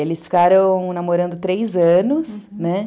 Eles ficaram namorando três anos, né?